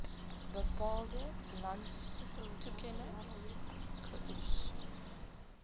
bepaalde landstoekenning geoes